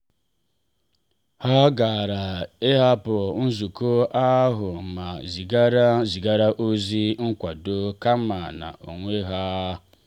ha gara ahapụ nzukọ ahụ ma zigaara zigaara ozi nkwado kama inọ onwe ha.